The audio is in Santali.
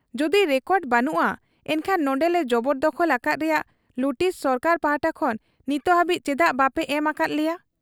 ᱡᱩᱫᱤ ᱨᱮᱠᱚᱰᱨᱮ ᱵᱟᱹᱱᱩᱜ ᱟ ᱮᱱᱠᱷᱟᱱ ᱱᱚᱱᱰᱮᱞᱮ ᱡᱚᱵᱚᱨᱫᱚᱠᱷᱚᱞ ᱟᱠᱟᱫ ᱨᱮᱭᱟᱜ ᱞᱩᱴᱤᱥ ᱥᱚᱨᱠᱟᱨ ᱯᱟᱦᱴᱟ ᱠᱷᱚᱱ ᱱᱤᱛ ᱦᱟᱹᱵᱤᱡ ᱪᱮᱫᱟᱜ ᱵᱟᱯᱮ ᱮᱢ ᱟᱠᱟᱦᱟᱫ ᱞᱮᱭᱟ ?